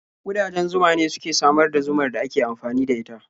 Ƙudajen zuma ne suke samar da zumar da ake amfani da ita.